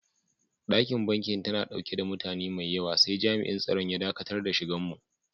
Dakin banki tana dauke da mutane maiyawa sai jam'in tsaron ya daƙatar da shigan mu.